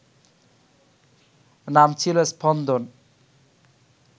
নাম ছিল স্পন্দন